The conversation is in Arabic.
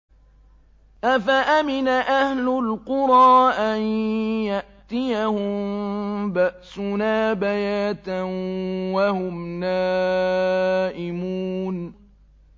أَفَأَمِنَ أَهْلُ الْقُرَىٰ أَن يَأْتِيَهُم بَأْسُنَا بَيَاتًا وَهُمْ نَائِمُونَ